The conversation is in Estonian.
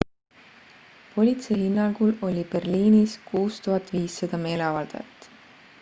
politsei hinnangul oli berliinis 6500 meeleavaldajat